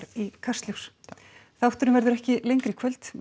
í Kastljós þátturinn verður ekki lengri í kvöld við